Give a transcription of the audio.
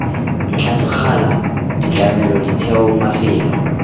ntlha sekgala ditlamelo ditheo mafelo